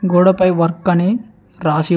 గోడ పై వర్క్ అని రాసి--